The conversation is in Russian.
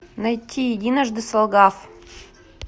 найти единожды солгав